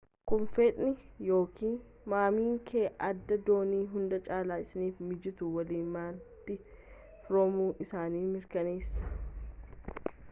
kun fedhiin/ykn mamiin kee addaa doonii hunda caalaa isaaniif mijatu waliin malitti firoomuu isaanii mirkaneessa